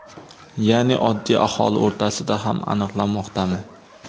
ya’ni oddiy aholi o‘rtasida ham aniqlanmoqdami?.